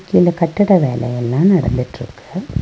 இந்த கட்டட வேல எல்லா நடந்துட்ருக்கு.